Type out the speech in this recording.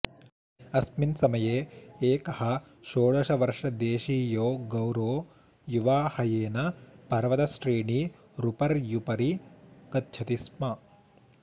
अस्मिन् समये एकः षोडशवर्षदेशीयो गौरो युवा हयेन पर्वतश्रेणीरुपर्युपरि गच्छति स्म